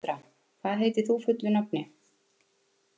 Andra, hvað heitir þú fullu nafni?